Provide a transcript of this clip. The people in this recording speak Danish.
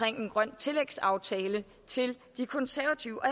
en grøn tillægsaftale til de konservative